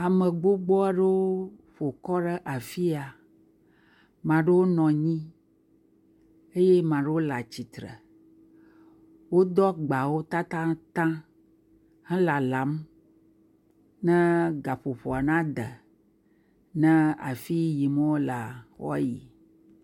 Ame gbogbo aɖewo ƒo kɔ ɖe afia, ame aɖewo nɔ anyi eye ame aɖewo le atsitre. Wodo agbawo tatataŋ helalam ne gaƒoƒoa na de ne afi yi yim wolea, woayi.